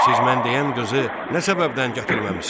Siz mən deyən qızı nə səbəbdən gətirməmisiniz?